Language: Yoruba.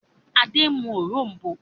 Adé ń mú òrom̀bó.